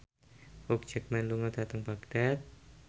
Hugh Jackman lunga dhateng Baghdad